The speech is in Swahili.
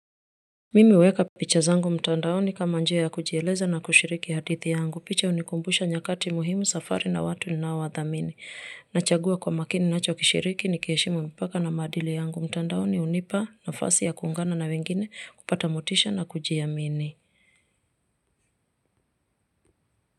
Mimi huweka picha zangu mtandaoni kama njia ya kujieleza na kushiriki hadithi yangu. Picha hunikumbusha nyakati muhimu safari na watu ninaowadhamini. Nachagua kwa makini nachokishiriki nikiheshimu mpaka na maadili yangu. Mtandaoni hunipa nafasi ya kuungana na wengine kupata motisha na kujiamini.